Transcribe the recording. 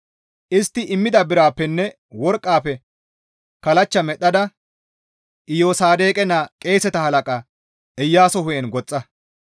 Istti immida birappenne worqqafe kallachcha medhdhada Iyosaadoqe naa qeeseta halaqa Iyaaso hu7en goxxa.